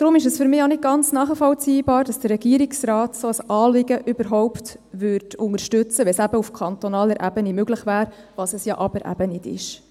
Deswegen ist es für mich auch nicht nachvollziehbar, dass der Regierungsrat ein solches Anliegen überhaupt unterstützen würde, wenn es auf kantonaler Ebene möglich wäre, was es ja aber eben nicht ist.